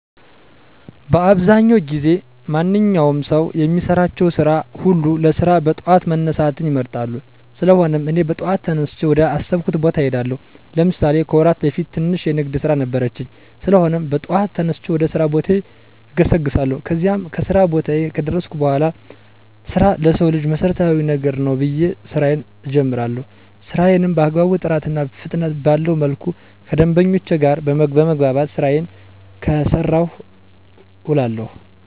በአብዛዉ ጊዜ ማንኛዉም ሰዉ የሚሰራቸዉን ስራ ሁሉ ለመስራት በጠዋት መነሳትን ይመርጣል: ስለሆነም, እኔ በጠዋት ተነስቼ ወደ አሰብኩት ቦታ እሄዳለሁ። ለምሳሌ፦ ከወራት በፊት ትንሽ የንግድ ስራ ነበረችኝ? ስለሆነም, በጠዋት ተነስቼ ወደ ስራ ቦታዬ እገሰግሳለሁ። ከዚያም, ከስራ ቦታየ ከደረስኩ በኋላ ስራ ለሰዉ ልጅ መሰረታዊ ነገር ነዉ ብየ ስራየን እጀምራለሁ። ስራየንም በአግባቡ ጥራትና ፍጥነት ባለዉ መልኩ ከደንበኞቼ ጋር በመግባባት ስራየን ስሰራ እዉላለሁ።